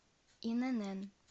инн